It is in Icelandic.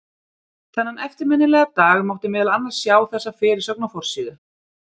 Þennan eftirminnilega dag mátti meðal annars sjá þessa fyrirsögn á forsíðu